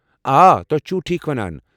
آ، تُہۍ چھوٕ ٹھیٖک ونان